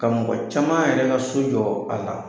Ka mɔgɔ caman yɛrɛ ka so jɔ a la